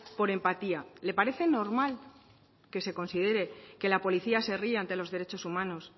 por empatía le parece normal que se considere que la policía se ría ante los derechos humanos